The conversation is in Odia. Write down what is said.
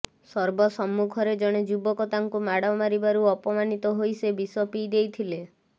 ସର୍ବସମ୍ମୁଖରେ ଜଣେ ଯୁବକ ତାଙ୍କୁ ମାଡ଼ ମାରିବାରୁ ଅପମାନିତ ହୋଇ ସେ ବିଷ ପିଇ ଦେଇଥିେଲ